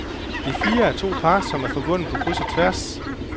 De fire er to par, som er forbundet på kryds og tværs.